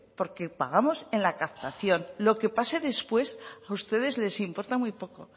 porque pagamos en la captación lo que pase después a ustedes les importa muy poco